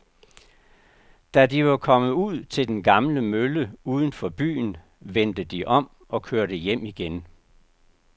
Da de var kommet ud til den gamle mølle uden for byen, vendte de om og kørte hjem igen.